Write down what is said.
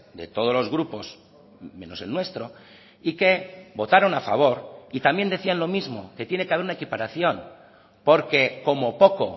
de todos los grupos menos el nuestro y que votaron a favor y también decían lo mismo que tiene que haber una equiparación porque como poco